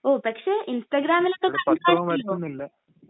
ഉം, പക്ഷേ ഇൻസ്റ്റഗ്രാമിലൊക്കെ കണ്ടായിരുന്നല്ലോ?